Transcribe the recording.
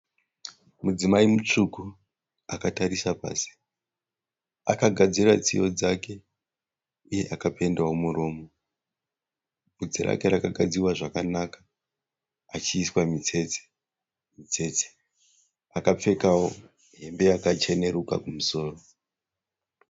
Mudzimai mutsvuku akatarisa pasi. Akagadzira tsiye dzake uye akapendwa muromo. Vhudzi rake rakagadzirwa zvakanaka achiiswa mitsetse-mitsetse. Akapfekawo hembe yakacheneruka kumusoro.